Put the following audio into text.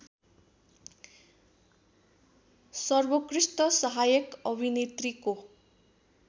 सर्वोत्कृष्ट सहायक अभिनेत्रीको